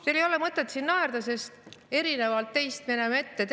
Teil ei ole mõtet naerda, sest erinevalt teist me näeme ette.